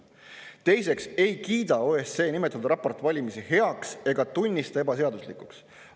Teiseks ei kiida OSCE nimetatud raport valimisi heaks ega tunnista ebaseaduslikuks.